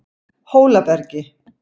Hólabergi